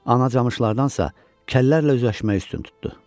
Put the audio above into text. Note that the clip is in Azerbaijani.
Ana camışlardansa kəllərlə üzləşməyi üstün tutdu.